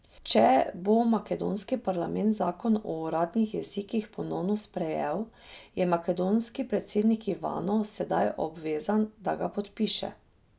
Če bo makedonski parlament zakon o uradnih jezikih ponovno sprejel, je makedonski predsednik Ivanov sedaj obvezan, da ga podpiše.